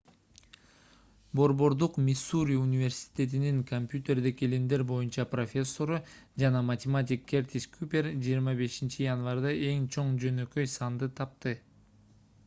борбордук миссури университетинин копьютердик илимдер боюнча профессору жана математик кертис купер 25-январда эң чоң жөнөкөй санды тапты